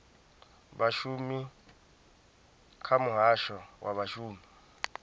vhashumi kha muhasho wa vhashumi